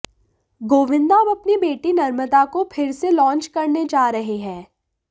गोविन्दा अब अपनी बेटी नर्मदा को फिर से लांच करने जा रहे हैं